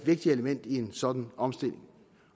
vigtigt element i en sådan omstilling